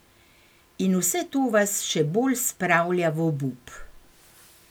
In vse to vas še bolj spravlja v obup.